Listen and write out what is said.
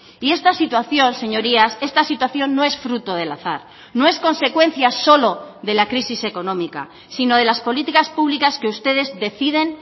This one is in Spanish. y esta situación señorías esta situación no es fruto del azar no es consecuencia solo de la crisis económica sino de las políticas públicas que ustedes deciden